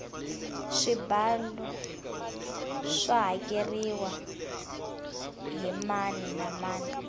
swibalo swa hakeriwa hi mani na mani